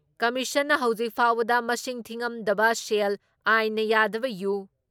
ꯀꯝꯃꯤꯁꯟꯅ ꯍꯧꯖꯤꯛ ꯐꯥꯎꯕꯗ ꯃꯁꯤꯡ ꯊꯤꯉꯝꯗꯕ ꯁꯦꯜ, ꯑꯥꯏꯟꯅ ꯌꯥꯗꯕ ꯌꯨ,